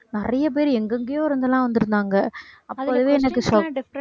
நிறைய பேர் எங்கெங்கேயோ இருந்து எல்லாம் வந்திருந்தாங்க